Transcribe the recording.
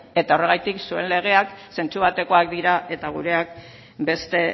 eta horregatik zuen legeak zentzu batekoak dira eta gureak beste